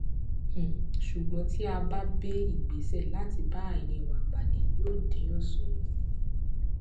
um ṣùgbọn tí a bá bé ìgbésẹ láti bá àìní wa pàdé yóò dín òṣùwọn kù